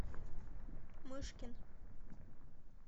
мышкин